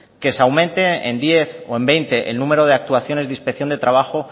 que se aumente en diez o en veinte el número de actuaciones de inspección de trabajo